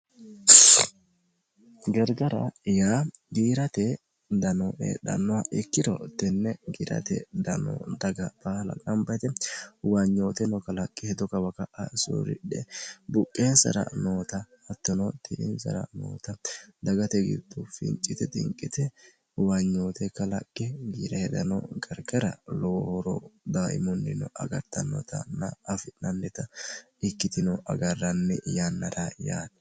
gargara yaa giirate dano heedhannoha ikkiro tenne giirate dano daga baala gambate huwaanyooteno kalaqqe hedo kawa ka'a soorridhe buqqeensara noota hattono ti''insara noota dagate giddu fincite tinqite huwaanyoote kalaqqe giirate dano gargara lowooro daaimunnino agartannotana afi'nannita ikkitino agarranni yannara yaani